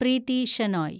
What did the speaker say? Preethi Shenoy